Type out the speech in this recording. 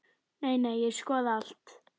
Nei, nei, ég skoða allt.